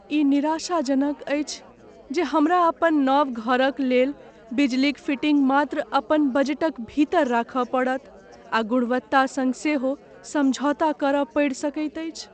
ई निराशाजनक अछि जे हमरा अपन नव घरक लेल बिजलीक फिटिंग मात्र अपन बजटक भीतर राखय पड़त आ गुणवत्ता सङ्ग सेहो समझौता करय पड़ि सकैत अछि।